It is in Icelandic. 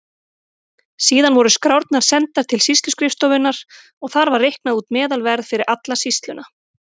Síðan voru skrárnar sendar til sýsluskrifstofunnar og þar var reiknað út meðalverð fyrir alla sýsluna.